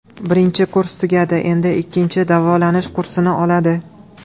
Birinchi kurs tugadi, endi ikkinchi davolanish kursini oladi.